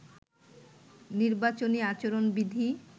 নির্বাচনী আচরণ বিধি